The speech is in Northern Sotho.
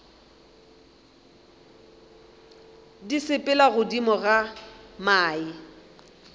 di sepela godimo ga mae